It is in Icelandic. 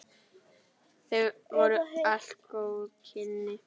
Það voru allt góð kynni.